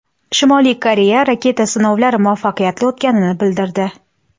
Shimoliy Koreya raketa sinovlari muvaffaqiyatli o‘tganini bildirdi.